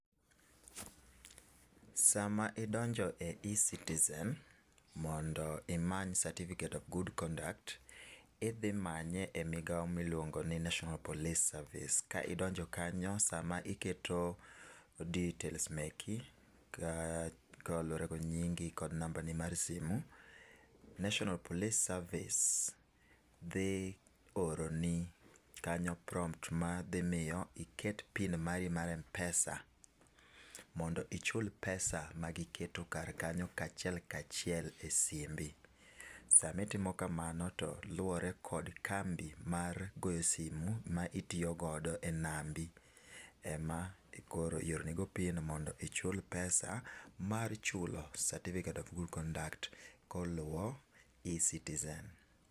Sa ma idonjo e ecitizen mondo imany certificate of good conduct, idhi manye e migao mi iluongo ni national police service. Ka idonjo kanyo sa ma iketo details magi kata nyingi kod namba mar simo. Natonal police service dhi oroni kanyo prompt ma dhi miyo iket pin mari mar Mpesa mondo ichul pesa ma gi keto kanyo kaachie kaachiel e simbi .Sa ma itimo kamano to luore kod kambi mar goyo simo ma itiyo godo e nambi e ma koro ioro ni go pin mondo ichul pesa mar chulo certificate of good conduct ko oluwo ecitizen.